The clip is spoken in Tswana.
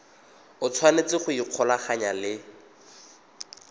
o tshwanetse go ikgolaganya le